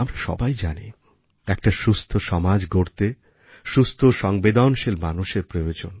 আমরা সবাই জানি একটা সুস্থ সমাজ গড়তে সুস্থ ও সংবেদনশীল মানুষের প্রয়োজন